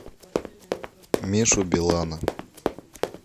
мишу белана